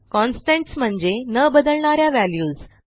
constants म्हणजे न बदलणा या व्हॅल्यूज